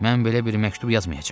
Mən belə bir məktub yazmayacam.